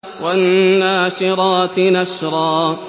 وَالنَّاشِرَاتِ نَشْرًا